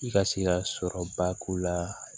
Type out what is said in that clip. I ka se ka sɔrɔba k'u la